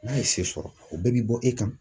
N'a ye se sɔrɔ , o bɛɛ bi bɔ e kan